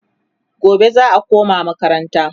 gobe za'a koma makaranta